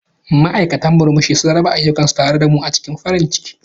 Ma'aikatan murmushi sun raba ayyukansu tare da mu cikin farin ciki.